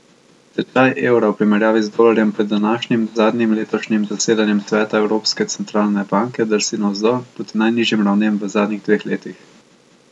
Tečaj evra v primerjavi z dolarjem pred današnjim zadnjim letošnjim zasedanjem sveta Evropske centralne banke drsni navzdol proti najnižjim ravnem v zadnjih dveh letih.